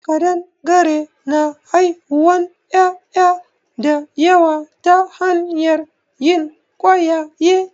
Ƙadangare na haihuwan ƴaƴa da yawa ta hanyar yin ƙwayaye